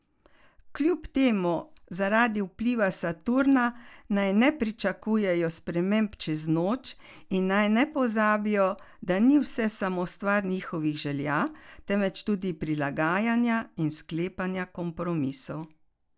Kljub temu zaradi vpliva Saturna naj ne pričakujejo sprememb čez noč in naj ne pozabijo, da ni vse samo stvar njihovih želja, temveč tudi prilagajanja in sklepanja kompromisov.